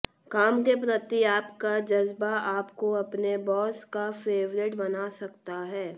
काम के प्रति आपका जज्बा आपको अपने बॉस का फेवरेट बना सकता है